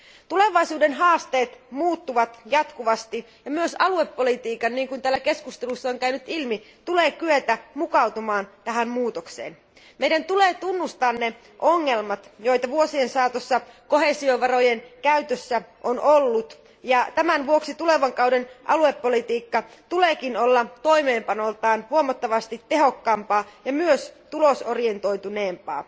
Tulevaisuuden haasteet muuttuvat jatkuvasti ja myös aluepolitiikan, niin kuin täällä keskusteluissa on käynyt ilmi, tulee kyetä mukautumaan tähän muutokseen. Meidän tulee tunnustaa ne ongelmat, joita vuosien saatossa koheesiovarojen käytössä on ollut, ja tämän vuoksi tulevan kauden aluepolitiikka tuleekin olla toimeenpanoltaan huomattavasti tehokkaampaa ja myös tulosorientointuneempaa.